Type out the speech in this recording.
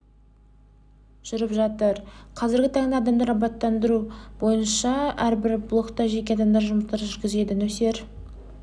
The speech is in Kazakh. жүріп жатыр қазіргі таңда адам абаттандыру бойынша және әрбір блокта жеке адамдар жұмыстар жүргізеді нөсер